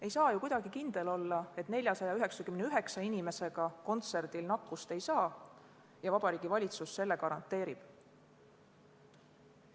Ei saa ju kuidagi kindel olla, et 499 inimesega kontserdil nakkust ei saada ja Vabariigi Valitsus selle garanteerib.